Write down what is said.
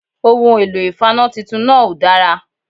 Ohun èlò ìfaná titun náà òdára